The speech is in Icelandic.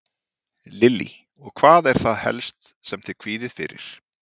Lillý: Og hvað er það helst sem þið kvíðið fyrir?